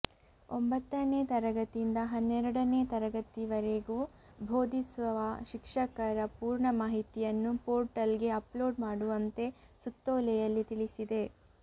ಒಂಬತ್ತನೇ ತರಗತಿಯಿಂದ ಹನ್ನೇರಡನೇ ತರಗತಿವರೆಗೂ ಬೋಧಿಸುವ ಶಿಕ್ಷಕರ ಪೂರ್ಣ ಮಾಹಿತಿಯನ್ನು ಪೋರ್ಟಲ್ ಗೆ ಅಪ್ಲೋಡ್ ಮಾಡುವಂತೆ ಸುತ್ತೋಲೆಯಲ್ಲಿ ತಿಳಿಸಿದೆ